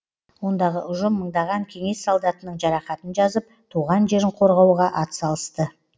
ондағы ұжым мыңдаған кеңес солдатының жарақатын жазып туған жерін қорғауға атсалысты